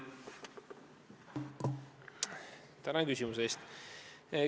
Tänan küsimuse eest!